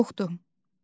Heç yerdə yoxdur.